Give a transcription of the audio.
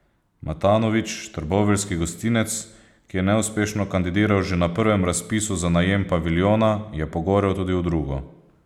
Matanovič, trboveljski gostinec, ki je neuspešno kandidiral že na prvem razpisu za najem paviljona, je pogorel tudi v drugo.